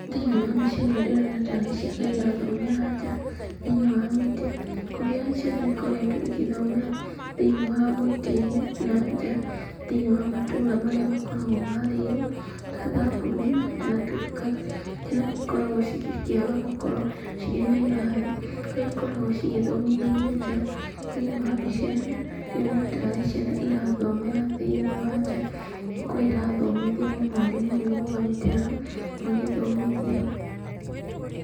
Thĩinĩ wa mbica ĩno ndĩrona ta arĩ ciana irathomera nja, thĩinĩ wa mĩtĩ, kũrĩa ciana ikoretwo igĩthomera thĩinĩ wa mĩtĩ-inĩ na nja, thĩinĩ wa matũra marĩa makoragwo marĩirwo, ta thamburu na kana turũkana, ciana nĩikoragwo cigĩkĩaga gũkorwo cirĩ na irathi, kũrĩa ikoragwo cigĩthomithĩrio nja. Thĩinĩ wa mbica ĩno, ndĩrona ta arĩ ciana irathomera thĩinĩ wa nja, kũrĩa irathomithio nĩ mwarimũ ũyũ ũrũgamĩte haha, magĩthomithio.